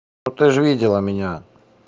ну ты же видела меня